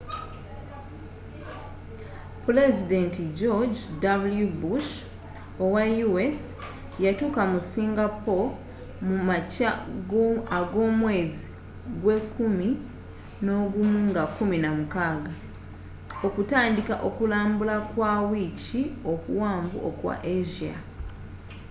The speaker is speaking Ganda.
pulezidenti george .w. bush owa u.s. yatuuka mu singapore mu makya agomwezi gwe kumi nogumu nga 16 okutandiika okulambula kwa wiiki okuwanvu okwa asia